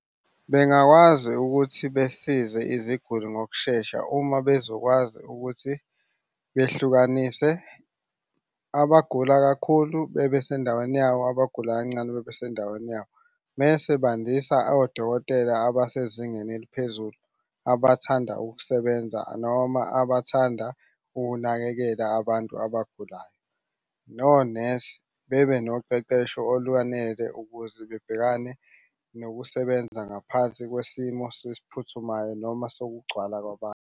Bengakwazi ukuthi besize iziguli ngokushesha uma bezokwazi ukuthi behlukanise, abagula kakhulu bebe sendaweni yabo, abagula kancane bebe sendaweni yabo. Mese bandisa odokotela abasezingeni eliphezulu, abathanda ukusebenza noma abathanda ukunakekela abantu abagulayo. Nonesi bebe noqeqesho olwanele ukuze bebhekane nokusebenza ngaphansi kwesimo sesiphuthuma noma sokugcwala kwabantu.